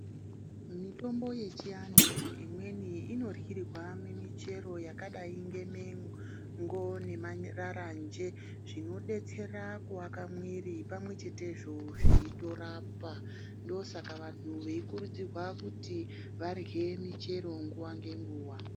Mitombo yechiantu imweni inoryirwa mumichero yakadai ngemengo nemararanje zvinodetsera kuaka mwiiri pamwechetezve zveitorapa. Ndoosaka vantu veikurudzirwa kuti varye michero nguva ngenguva.